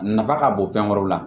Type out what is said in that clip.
Nafa ka bon fɛn wɛrɛw la